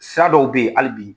Sira dɔw be yen hali bi